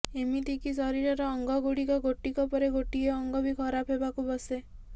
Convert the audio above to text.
ଏମିତିକି ଶରୀରର ଅଙ୍ଗ ଗୁଡିକ ଗୋଟିକ ପରେ ଗୋଟିଏ ଅଙ୍ଗ ବି ଖରାପ ହେବାକୁ ବସେ